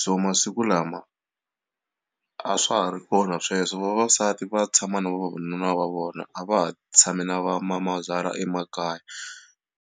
so masiku lama a swa ha ri kona sweswo vavasati va tshama na vavanuna va vona a va ha tshami na vamamazala emakaya.